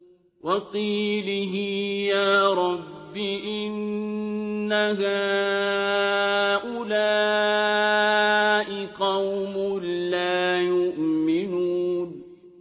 وَقِيلِهِ يَا رَبِّ إِنَّ هَٰؤُلَاءِ قَوْمٌ لَّا يُؤْمِنُونَ